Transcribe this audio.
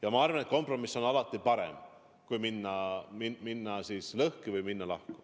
Ja ma arvan, et kompromiss on alati parem kui minna lõhki või minna lahku.